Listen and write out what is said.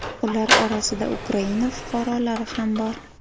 Ular orasida Ukraina fuqarolari ham bor.